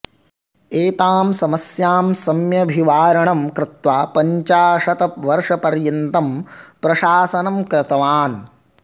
एतां समस्यां सम्यभिवारणम् कृत्वा पञ्चाशत् वर्षपर्यन्तं प्रशासनं कृतवान्